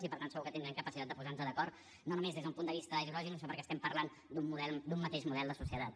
i per tant segur que tindrem capacitat de posar nos d’acord no només des d’un punt de vista ideològic sinó perquè estem parlant d’un mateix model de societat